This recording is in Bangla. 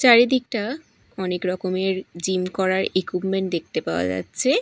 চারিদিকটা অনেক রকমের জিম করার ইকুইপমেন্ট দেখতে পাওয়া যাচ্ছে।